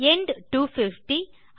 end 250